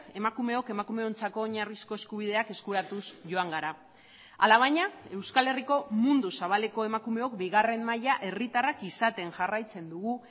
emakumeok emakumeontzako oinarrizko eskubideak eskuratuz joan gara alabaina euskal herriko mundu zabaleko emakumeok bigarren maila herritarrak izaten jarraitzen dugu